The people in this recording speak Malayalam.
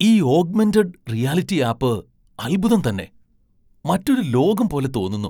ഈ ഓഗ്മെന്റഡ് റിയാലിറ്റി ആപ്പ് അദ്ഭുതം തന്നെ. മറ്റൊരു ലോകം പോലെ തോന്നുന്നു.